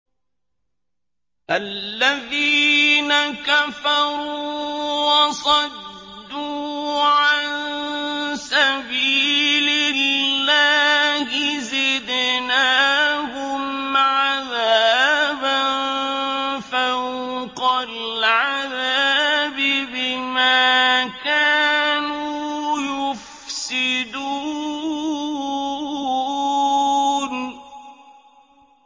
الَّذِينَ كَفَرُوا وَصَدُّوا عَن سَبِيلِ اللَّهِ زِدْنَاهُمْ عَذَابًا فَوْقَ الْعَذَابِ بِمَا كَانُوا يُفْسِدُونَ